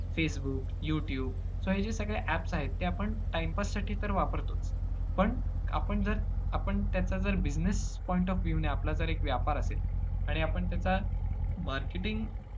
Facebook, YouTube तर हे सगळे apps आहेत. ते आपण time pass साठी तर वापरतोच, पण आपण जर~ आपण त्यांचा जर business point of view ने आपला जर एक व्यापार असेल आणि आपण त्याचा marketing